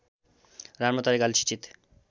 राम्रो तरिकाले शिक्षित